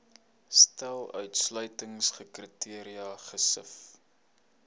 stel uitsluitingskriteria gesif